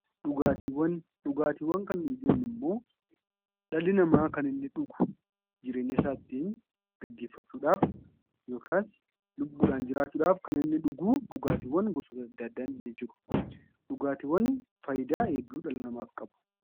Dhugaatiiwwan, dhugaatiiwwan kan nuyi jennummoo dhalli namaa kan inni dhugu jireenya isaa ittiin gaggeeffachuudhaaf yookaas lubbuudhaan jiraachuudhaaf kan inni dhuguu gosoota adda addaa ni jiru. Dhugaatiiwwan fayidaa hedduu dhala namaaf qabu.